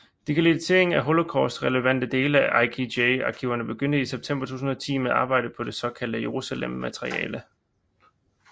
Digitalisering af de Holocaust relevante dele af IKG arkiverne begyndte i september 2010 med arbejdet på det såkaldte Jerusalem materiale